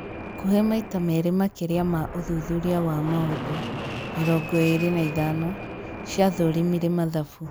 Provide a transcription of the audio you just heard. Hakũhĩ maĩta meerĩ makĩria ma ũthuthuria wa maũndũ (mĩrongo ĩĩrĩ na ithano) ciathũrimire mathabu.